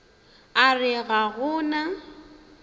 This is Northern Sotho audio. a re ga go na